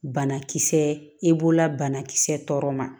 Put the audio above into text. Banakisɛ e bololabana kisɛ tɔ ma